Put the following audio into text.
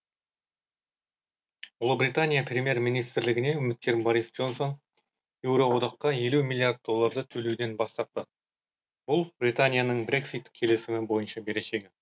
ұлыбритания премьер министрлігіне үміткер борис джонсон еуроодаққа елу миллиард долларды төлеуден бас тартпақ бұл британияның брексит келісімі бойынша берешегі